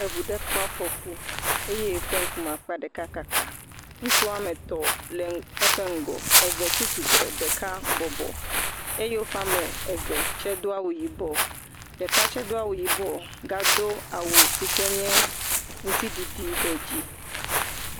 Eŋu ɖe kpɔ afŋku eye eƒe ŋkume akpa ɖeka kaka. Ŋutsu woa me etɔ le eƒe ŋgɔ, eve tsi tsire, ɖeka bɔbɔ eye woƒe ame eve tse do awu yibɔ. Ɖeka tse do awu yibɔ, gado awu si ke nye ŋuti ɖiɖi ɖe dzi.